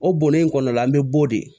O bonnen in kɔnɔna la an bɛ b'o de ye